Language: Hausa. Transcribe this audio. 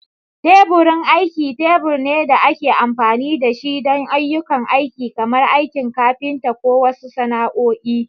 Teburin aiki tebur ne da ake amfani da shi don ayyukan aiki kamar aikin kafinta ko wasu sana'o'i.